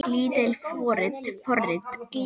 Lítil forrit